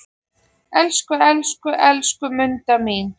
Elsku, elsku, elsku Munda mín.